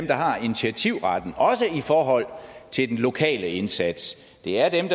har initiativretten også i forhold til den lokale indsats det er dem